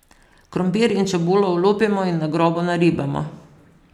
Krompir in čebulo olupimo in na grobo naribamo.